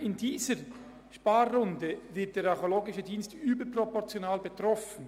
In dieser Sparrunde wird der Archäologische Dienst überproportional getroffen.